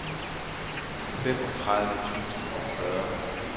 femogtredive tusind og fyrre